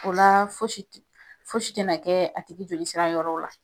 O la fosi tɛna kɛ a tigi joli sira yɔrɔ la